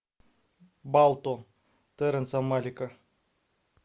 балто терренса малика